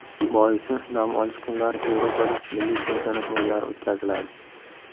Boisi, dam olish kunlari Yevropada milliy chempionat o‘yinlari o‘tkaziladi.